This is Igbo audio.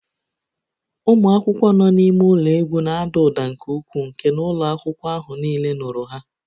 Ụmụ akwụkwọ nọ n'ime ụlọ egwu na-ada ụda nke ukwuu nke na ụlọ akwụkwọ ahụ niile nụrụ ha